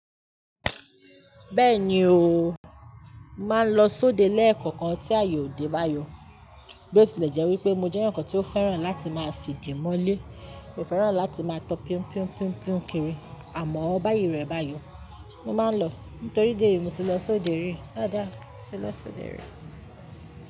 Bẹ́ẹ̀ni ooo, n màá lọ sóde lẹ́ẹ̀kọ̀kan tí aaye ò dé bayo. Bó le jẹ́ wípé mo jẹ́ èyàn kan tí ó fẹ́ràn láti máa fi di mọ́lé, mi ó fẹ́ràn láti máa tọ pinpin pinpin kiri, àmọ́ báyìí rẹ̀ bayo. Mo máa ń lọ, nítorí díẹ̀ yìí mo ti lọ sóde rí. Haba, mo ti lọ sóde rí.